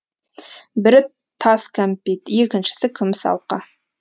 бірі тас кәмпит екіншісі күміс алқа